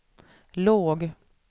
låg